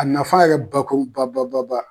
A nafa yɛrɛ bakuru ba ba ba ba